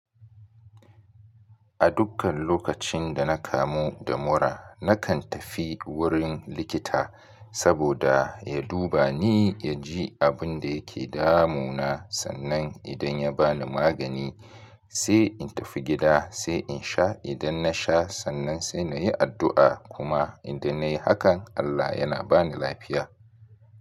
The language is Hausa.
A dukkan lokacin da na kamu da mura, na kan tafi wurin likita saboda ya duba ni, ya ji abin da yake damuna, sannan idan ya ba ni magani sai in tafi gida, sai in sha. Idan na sha sannan sai na yi addu'a. Kuma idan na yi hakan Allah yana ba ni lafiya.